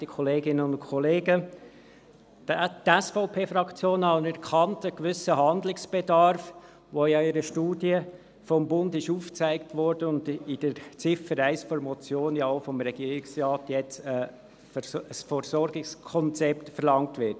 Die SVP-Fraktion anerkennt einen gewissen Handlungsbedarf, der ja in einer Studie des Bundes aufgezeigt wurde, und in Ziffer 1 der Motion wird vom Regierungsrat jetzt auch ein Versorgungskonzept verlangt.